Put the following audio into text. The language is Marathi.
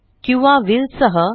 किंवा व्हील सह